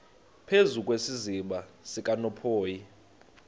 phezu kwesiziba sikanophoyi